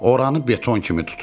Oranı beton kimi tutur.